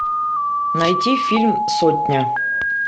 найти фильм сотня